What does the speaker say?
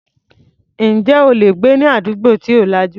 Ǹjẹ́ o lè gbé ní àdúgbò tí ò lajú rárá?